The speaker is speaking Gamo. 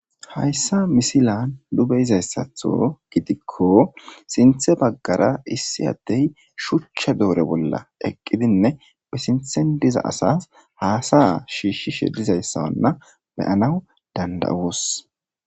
Haysa misilen nu bei'zaysaththo gidikko sinththe bagara iasi ade shuchcha dore bolla eqidine ba sinththa diza asa shishi dizaysanne beanaw dandao's